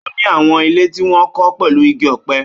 Ó ní àwọn ilé tí wọ́n kọ́ pẹ̀lú igi ọ̀pẹ.